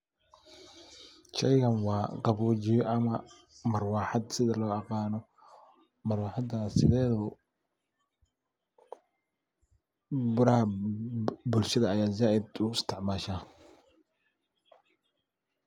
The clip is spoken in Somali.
Shaygan waa qaboojiya ama marwaaxad sida loo aqaano marwaxadana sideedaba baraha bulshada aya zaiid u isticmaasha.